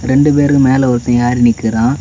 ரெண்டு பேரும் மேல ஒருத்தன் ஏறி நிக்கிறான்.